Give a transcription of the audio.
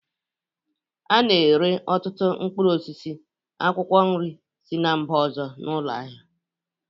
A n'ere ọtụtụ mkpụrụ osisi, akwụkwọ nri si mba ọzọ n'ụlọ ahịa